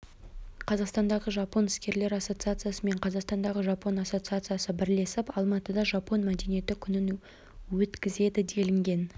қазақстандағы жапон іскерлер ассоциациясы мен қазақстандағы жапон ассоциациясы бірлесіп алматыда жапон мәдениеті күнін өткізеді делінген